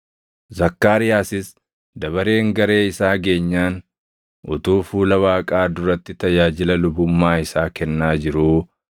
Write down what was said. Zakkaariyaasis dabareen garee isaa geenyaan utuu fuula Waaqaa duratti tajaajila lubummaa isaa kennaa jiruu,